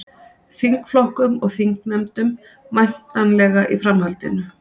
Þingflokkum og þingnefndum væntanlega í framhaldinu